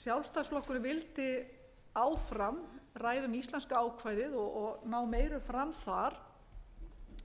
sjálfstæðisflokkurinn vildi áfram ræða um íslenska ákvæðið og ná meiru fram þar